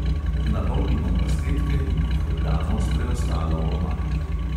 Napolnimo pastetke in jih obdamo s preostalo omako.